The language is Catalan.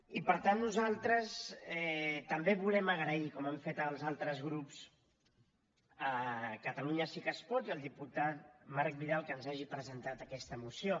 i per tant nosaltres també volem agrair com han fet els altres grups a catalunya sí que es pot i al diputat marc vidal que ens hagi presentat aquesta moció